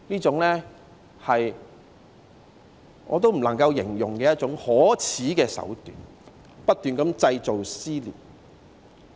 這些都是我無法形容的可耻手段，不斷地製造撕裂。